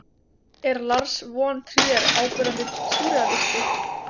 er lars von trier áberandi súrrealisti